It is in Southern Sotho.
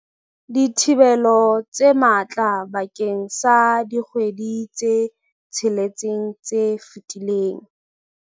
dithibelo tse matla bakeng sa dikgwedi tse tsheletseng tse fetileng.